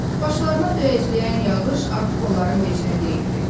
Başlarına döyəcləyən yağış artıq onların vecinə deyildi.